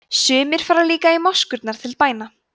sumir fara líka í moskurnar til bæna